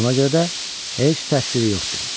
Ona görə də heç təqsiri yoxdur.